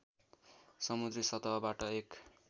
समुद्री सतहबाट एक